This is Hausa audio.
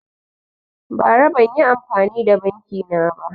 Bara banyi amfani da banki na ba